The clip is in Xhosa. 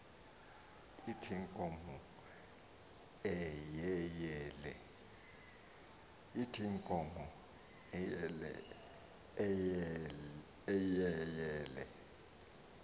ithi inkomo eyeyele